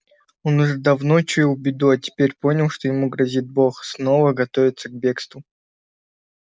он уже давно чуял беду а теперь понял что ему грозит бог снова готовится к бегству